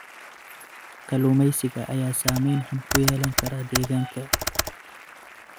Kalluumeysiga ayaa saameyn xun ku yeelan kara deegaanka.